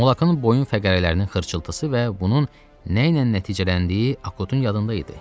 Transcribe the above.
Mulakın boyun fəqərələrinin xırçılıdışı və bunun nə ilə nəticələndiyi Akutun yadında idi.